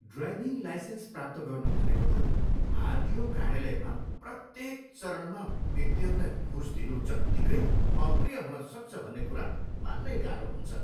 Driving licence प्राप्त गर्नु भनेको त आरटिओ कार्यालयमा प्रत्येक चरणमा व्यक्तिहरूलाई घुस दिनु जत्तिकै अप्रिय हुन सक्छ भन्ने कुरा मान्नै गाह्रो हुन्छ।